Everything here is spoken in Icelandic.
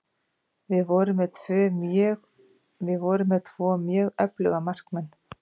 Við vorum með tvo mjög öfluga markmenn.